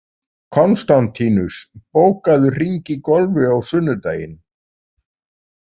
Konstantínus, bókaðu hring í golf á sunnudaginn.